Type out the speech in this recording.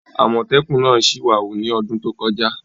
Àmọ́tẹ́kùn náà sì ìwà wù ní ọdún tó kọjá